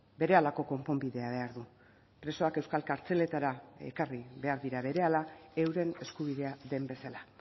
berehalako konponbidea behar du presoak euskal kartzeletara ekarri behar dira berehala euren eskubidea den bezala